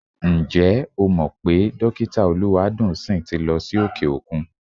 Ǹjẹ́ o mọ̀ pé Dọ́kítà Olúwadùnńsìn ti lọ sí òkè-òkun?